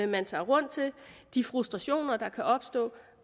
man tager rundt til de frustrationer der kan opstå